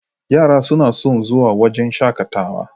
Yara suna son zuwa wajan shaƙatawa